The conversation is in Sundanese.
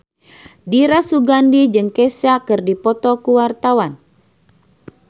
Dira Sugandi jeung Kesha keur dipoto ku wartawan